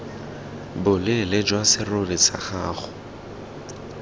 boleele jwa serori sa gago